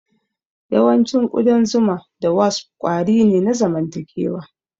Yawancin ƙudan zuma da wasp kwari ne na zamantakewa.